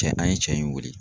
Kɛ an ye cɛ in weele.